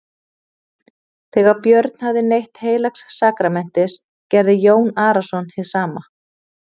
Þegar Björn hafði neytt heilags sakramentis gerði Jón Arason hið sama.